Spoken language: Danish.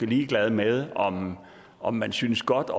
ligeglad med om om man synes godt